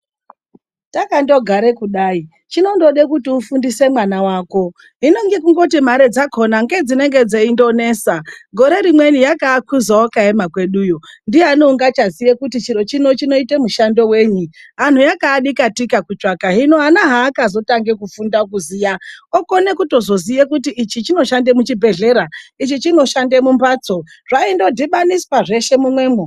Takandogara kudai chinondoda kuti ufundise mwana wako, hino ngekungoti mare dzakona ngedzinenge dzeindonesa. Gore rimweni yakaakhuza wakaema kweduyo. Ndiyani ungachaziye kuti chiro chino chinoita mushando wenyu, antu yakaadikatika kutsvaka. Hino ana haakazotange kufunda kuziya ,okone kutozoziya kuti ichi chinoshande muchibhedhlera, ichi chinoshande mumhatso. Zvaindodhibaniswa zveshe mumwemwo.